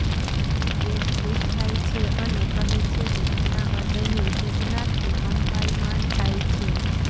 cat ખુશ થાય છે અને કહે છે કે તેના હૃદયની ઉત્તેજનાથી કંપાયમાન થાય છે